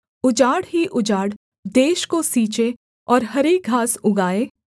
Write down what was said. उजाड़ ही उजाड़ देश को सींचे और हरी घास उगाए